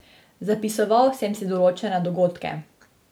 Zapisoval sem si določene dogodke.